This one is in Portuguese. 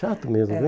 Chato mesmo, viu? É